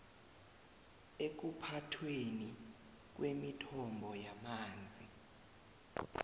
ekuphathweni kwemithombo yamanzi